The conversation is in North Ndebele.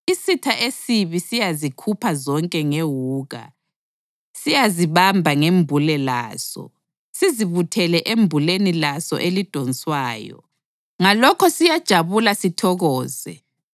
Isitha esibi siyazikhupha zonke ngewuka, siyazibamba ngembule laso, sizibuthele embuleni laso elidonswayo; ngalokho siyajabula sithokoze.